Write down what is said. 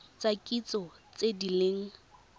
tsa kitso tse di leng